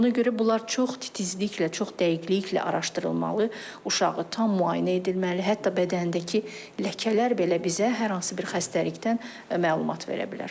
Ona görə bunlar çox titizliklə, çox dəqiqliklə araşdırılmalı, uşağı tam müayinə edilməli, hətta bədəndəki ləkələr belə bizə hər hansı bir xəstəlikdən məlumat verə bilər.